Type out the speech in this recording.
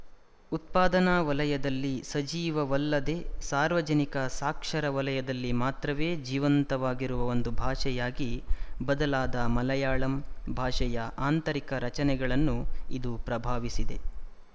ಉತ್ಪಾದನಾ ವಲಯದಲ್ಲಿ ಸಜೀವವಲ್ಲದೆ ಸಾರ್ವಜನಿಕ ಸಾಕ್ಷರ ವಲಯದಲ್ಲಿ ಮಾತ್ರವೇ ಜೀವಂತವಾಗಿರುವ ಒಂದು ಭಾಷೆಯಾಗಿ ಬದಲಾದ ಮಲಯಾಳಂ ಭಾಷೆಯ ಆಂತರಿಕ ರಚನೆಗಳನ್ನು ಇದು ಪ್ರಭಾವಿಸಿದೆ